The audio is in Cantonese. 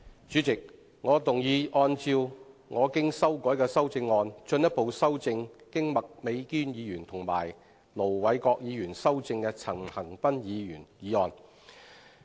主席，我動議按照我經修改的修正案，進一步修正經麥美娟議員及盧偉國議員修正的陳恒鑌議員議案。